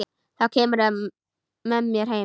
Þá kemurðu með mér heim.